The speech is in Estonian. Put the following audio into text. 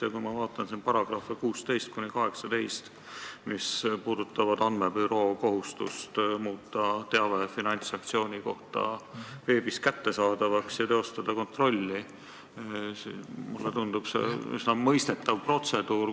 Ja kui ma vaatan siin paragrahve 16–18, mis käsitlevad rahapesu andmebüroo kohustust muuta teave finantssanktsiooni kohta veebis kättesaadavaks ja teostada kontrolli, siis mulle tundub see üsna mõistetava protseduurina.